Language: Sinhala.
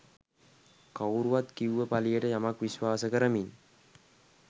කවුරුවත් කිව්ව පලියට යමක් විශ්වාස කරමින්